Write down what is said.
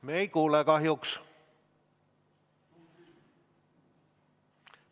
Me ei kuule kahjuks.